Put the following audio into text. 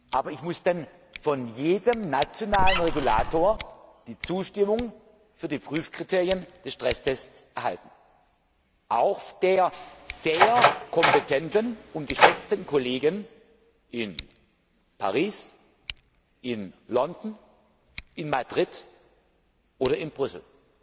Aber ich muss von jedem nationalen Regulator die Zustimmung zu den Prüfkriterien des Stresstests erhalten, auch die der sehr kompetenten und geschätzten Kollegen in Paris, in London, in Madrid oder in Brüssel,